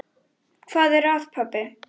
Hvað er að, pabbi?